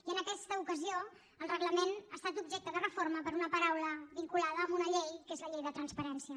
i en aquesta ocasió el reglament ha estat objecte de reforma per una paraula vinculada amb una llei que és la llei de transparència